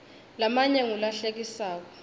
lamanye ngula hlekisako